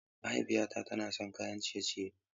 Mahaifiyata tana son kayan ciye-ciye.